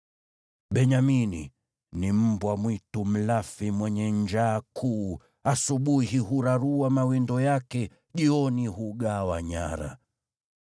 “Benyamini ni mbwa mwitu mlafi mwenye njaa kuu; asubuhi hurarua mawindo yake, jioni hugawa nyara.”